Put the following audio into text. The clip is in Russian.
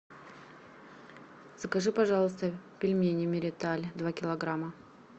закажи пожалуйста пельмени мириталь два килограмма